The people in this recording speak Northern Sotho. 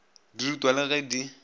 di rutwa le ge di